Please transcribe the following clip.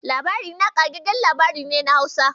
"Labarina" ƙagaggen labari ne na Hausa.